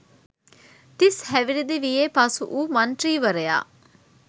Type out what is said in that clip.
තිස්‌ හැවිරිදි වියේ පසු වූ මන්ත්‍රීවරයා